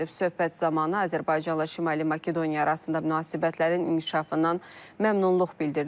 Söhbət zamanı Azərbaycanla Şimali Makedoniya arasında münasibətlərin inkişafından məmnunluq bildirilib.